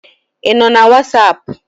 Ị nọ na Wasapu?